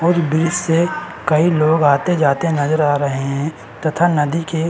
और ब्रिज से कई लोग आते जाते नजर आ रहे हैं तथा नदी के --